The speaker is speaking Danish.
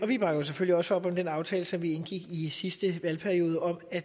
vi bakker selvfølgelig også op om den aftale som vi indgik i sidste valgperiode om at